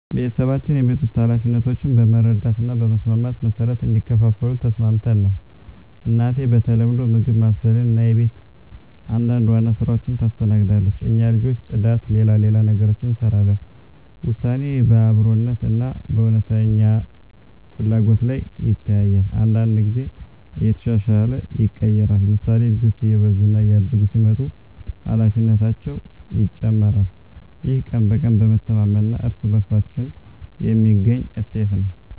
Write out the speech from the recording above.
ቤተሰባችን የቤት ውስጥ ኃላፊነቶችን በመረዳት እና በመስማማት መሠረት እንዲከፋፈሉ ተስማምተን ነው። እናቴ በተለምዶ ምግብ ማብሰልን እና የቤት አንዳንድ ዋና ሥራዎችን ታስተናግዳለች። እኛ ልጆች ጽዳት፣ ሌላ ሌላ ነገሮችን እንሰራለን ውሳኔ በአብረኛነት እና በእውነተኛ ፍላጎት ላይ ይተያያል። አንዳንድ ጊዜ እየተሻሻለ ይቀየራል፤ ምሳሌ፣ ልጆች እየበዙ እና እያደጉ ሲመጡ ኃላፊነታቸው ይጨመራል። ይህ ቀን በቀን በመተማመን እና በእርስ በእርሳችን የሚገኝ እሴት ነው።